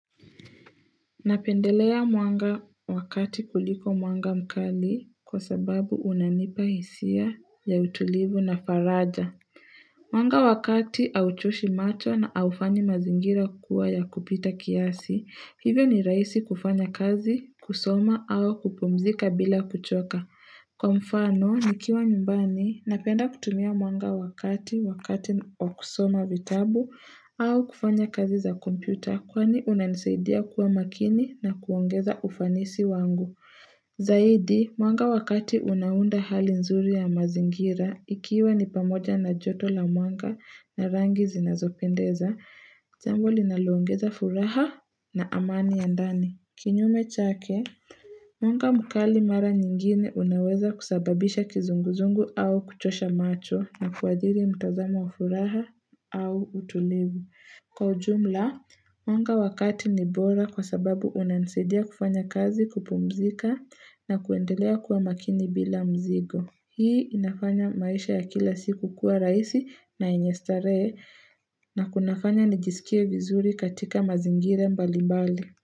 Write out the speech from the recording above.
Napendelea mwanga wa kati kuliko mwanga mkali kwa sababu unanipa hisia ya utulivu na faraja Mwanga wa kati hauchoshi macho na haufanyi mazingira kuwa ya kupita kiasi hivyo ni rahisi kufanya kazi kusoma au kupumzika bila kuchoka Kwa mfano, nikiwa nyumbani, napenda kutumia mwanga wa kati, wakati wa kusoma vitabu au kufanya kazi za kompyuta kwani unanisaidia kuwa makini na kuongeza ufanisi wangu. Zaidi, mwanga wa kati unaunda hali nzuri ya mazingira, ikiwa ni pamoja na joto la mwanga na rangi zinazopendeza, jambo linaloongeza furaha na amani ya ndani. Kinyume chake, mwanga mkali mara nyingine unaweza kusababisha kizunguzungu au kuchosha macho na kuathiri mtazamo wa furaha au utulivu. Kwa ujumla, mwanga wa kati ni bora kwa sababu unanisaidia kufanya kazi kupumzika na kuendelea kuwa makini bila mzigo. Hii inafanya maisha ya kila siku kuwa rahisi na yenye starehe na kunafanya nijisikie vizuri katika mazingira mbali mbali.